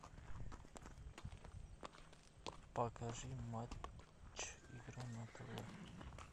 покажи матч игра на тв